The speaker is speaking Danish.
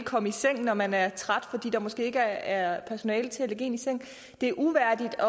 komme i seng når man er træt fordi der måske ikke er personale til at lægge en i seng det er uværdigt